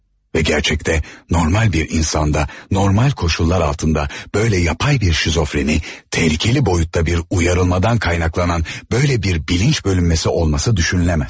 Və gərçəkdə normal bir insanda, normal koşullar altında böylə yapay bir şizofreniya, təhlükəli boyutda bir uyarılmadan qaynaqlanan böylə bir bilinç bölünməsi olması düşünülməz.